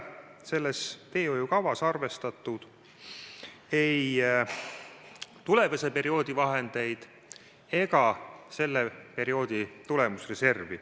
Selles teehoiukavas pole arvestatud ei tulevase perioodi vahendeid ega selle perioodi tulemusreservi.